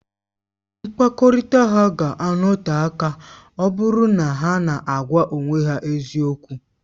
Mkpakọrịta ha ga-anọte aka ọ bụrụ na ha na-agwa onwe ha eziokwu